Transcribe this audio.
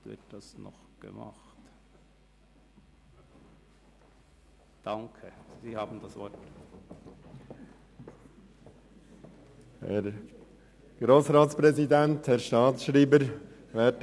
Der Regierungsrat evaluiert die Anwendung der Regulierungs-Checkliste nach Ablauf von 3 Jahren seit deren Inkraftsetzung und erstattet dem Grossen Rat in geeigneter Form Bericht.